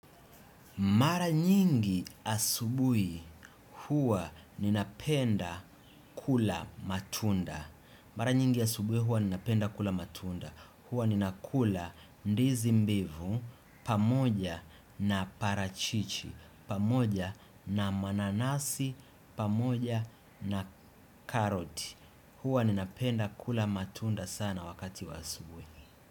Mara nyingi asubui huwa ninapenda kula matunda. Mara nyingi asubui huwa ninapenda kula matunda. Huwa ninakula ndizi mbivu, pamoja na parachichi, pamoja na mananasi, pamoja na karoti. Huwa ninapenda kula matunda sana wakati wa asubui.